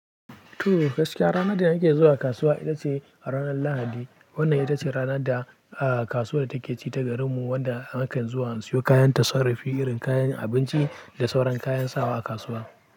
To gaskiya, ranan da nake zuwa kasuwa ita ce ranar Lahadi. Wannan ita ce rana da, ah, kasuwar take ci ta garinmu wanda nakan zuwa in siyo kayan tasarafi irin kayan abunci da sauran kayan sawa a kasuwa.